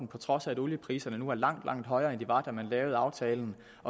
trods af at oliepriserne nu er langt langt højere end de var da man lavede aftalen